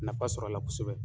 Nafa sɔrɔ a la kosɛbɛ.